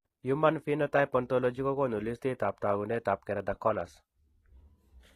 Human phenotype ontology kokoonu listiitab taakunetaab Keratoconus.